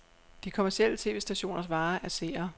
De kommercielle tv-stationers vare er seere.